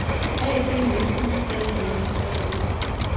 AC Nielsen AIM A/S